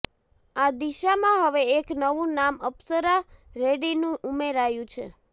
આ દિશામાં હવે એક નવુ નામ અપ્સરા રેડ્ડીનું ઉમેરાયું છે